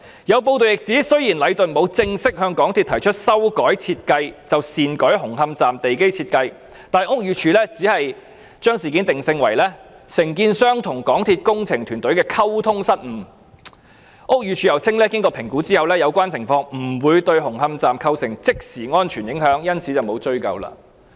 有報道亦指出，雖然禮頓沒有正式向港鐵公司提出修改設計便擅改紅磡站地基設計，但屋宇署只將事件定性為承建商與港鐵公司工程團隊的溝通失誤，並表示經評估後，有關情況不會對紅磡站構成即時安全影響，因此沒有作出追究。